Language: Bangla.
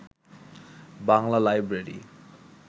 বাংলা লাইব্রেরি